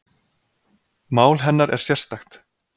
Mál hennar er sérstakt